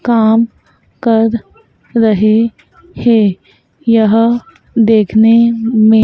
काम कर रहे हैं यह देखने में--